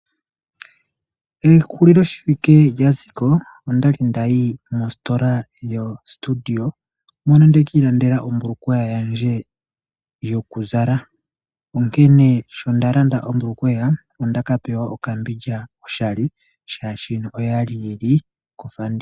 Ehuliloshiwike lyaziko ondali ndayi mositola yo Studio mono ndeki landela ombulukweya yandje yoku zala onkene sho nda landa ombulukweya ondaka pewa okambindja oshali ,oshoka oyali yili kofanditha.